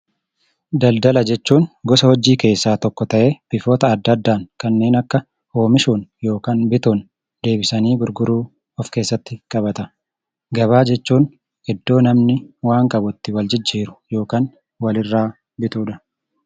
Daldala jechuun gosa hojii keessaa tokko ta'ee bifoota adda addaan kanneen akka oomishuun yookan bituun, deebisanii gurguruu of keessatti qabata. Gabaa jechuun iddoo namni waan qabutti waljijjiiru yookaan walirraa bitudha.